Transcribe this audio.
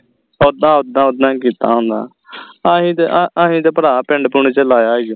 ਇੱਦਾਂ ਉੱਦਾ ਹੀ ਕੀਤਾ ਹੋਣੇ ਅਸੀਂ ਤੇ ਅਸੀਂ ਤੇ ਭਰਾ ਪਿੰਡ ਪੁੰਡ ਚ ਲਾਇਆ ਈ